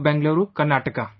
Bengaluru, Karnataka